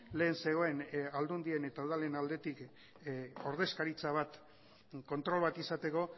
lehen zegoen aldundien eta udalen aldetik ordezkaritza bat kontrol bat izateko